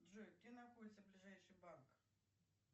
джой где находится ближайший банк